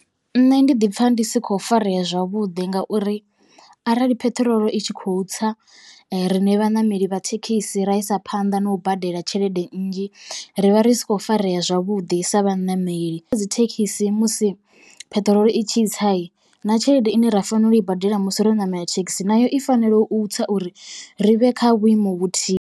Nṋe ndi ḓi pfha ndi si kho farea zwavhuḓi ngauri arali peṱirolo i tshi khou tsa riṋe vhaṋameli vha thekhisi ra isa phanḓa na u badela tshelede nnzhi, ri vha ri sa khou farea zwavhuḓi sa vhaṋameli. Vha dzi thekhisi musi peṱirolo i tshi tsa na tshelede ine ra fanela u i badela musi ro ṋamela thekhisi nayo i fanela u tswa uri ri vhe kha vhuimo vhuthihi.